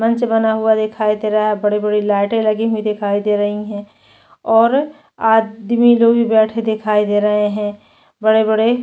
मंच बना हुआ दिखाई दे रहा है बड़े-बड़े लाइटे लगी हुई दिखाई दे रही है और आदमी लोग भी बैठे हुए दिखाई दे रहे है बड़े-बड़े--